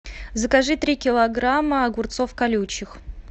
закажи три килограмма огурцов колючих